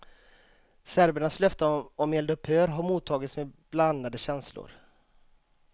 Serbernas löfte om eldupphör har mottagits med blandade känslor.